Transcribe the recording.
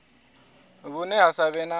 vhune ha sa vhe na